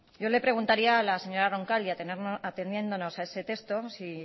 yo le preguntaría a la señora roncal y ateniéndonos a ese texto si